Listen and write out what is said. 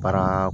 Baara